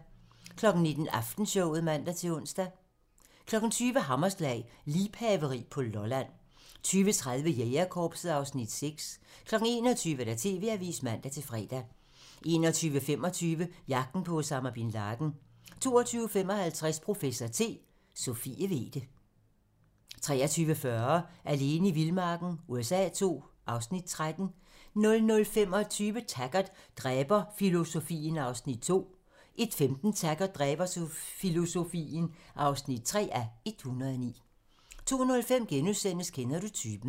19:00: Aftenshowet (man-ons) 20:00: Hammerslag - Liebhaveri på Lolland 20:30: Jægerkorpset (Afs. 6) 21:00: TV-avisen (man-fre) 21:25: Jagten på Osama Bin Laden 22:55: Professor T: Sophie ved det 23:40: Alene i vildmarken USA II (Afs. 13) 00:25: Taggart: Dræberfilosofien (2:109) 01:15: Taggart: Dræberfilosofien (3:109) 02:05: Kender du typen? *